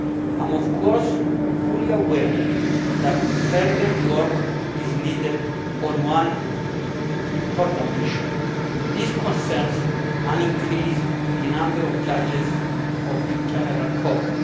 I am, of course, fully aware that further work is needed on one important issue. This concerns an increase in the number of judges of the General Court.